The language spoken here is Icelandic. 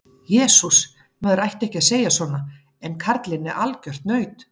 Jesús, maður ætti ekki að segja svona en karlinn er algjört naut.